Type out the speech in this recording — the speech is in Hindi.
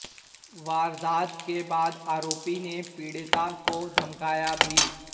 वारदात के बाद आरोपी ने पीड़िता को धमकाया भी